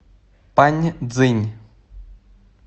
паньцзинь